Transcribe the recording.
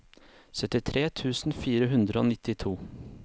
syttitre tusen fire hundre og nittito